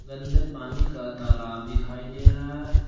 गंदे पानी का तालाब दिखाई दे रहा है।